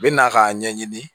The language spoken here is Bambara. U bɛ na k'a ɲɛɲini